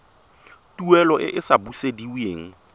tuelo e e sa busediweng